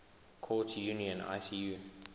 courts union icu